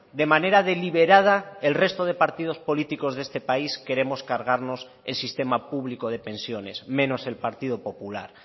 de manera deliberada el resto de partidos políticos de este país queremos cargarnos el sistema público de pensiones menos el partido popular